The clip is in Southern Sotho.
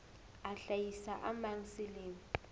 a hlahisa a mang selemo